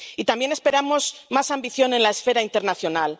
Y también esperamos más ambición en la esfera internacional.